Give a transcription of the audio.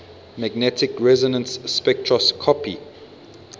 magnetic resonance spectroscopy